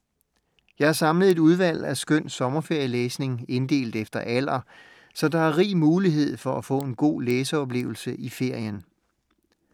Jeg har samlet et udvalg af skøn sommerferielæsning, inddelt efter alder, så der er rig mulighed for at få en god læseoplevelse i ferien.